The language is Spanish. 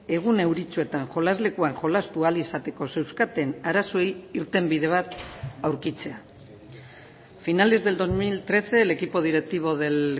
egun euritsuetan jolaslekuan jolastu ahal izateko zeuzkaten arazoei irtenbide bat aurkitzea a finales del dos mil trece el equipo directivo del